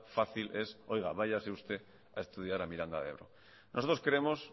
fácil es oiga váyase usted a estudiar a miranda de ebro nosotros creemos